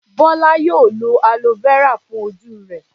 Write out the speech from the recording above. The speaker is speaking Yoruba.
Bọ́lá yóò lo aloe vera fún ojú rẹ̀.